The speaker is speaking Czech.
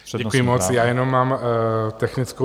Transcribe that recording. Děkuji moc, já jenom mám technickou.